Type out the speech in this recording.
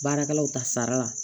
Baarakɛlaw ta sara la